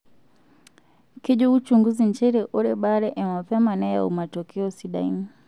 Kejo uchunguzi nchere ore baare e mapema neyau matokeo sidain.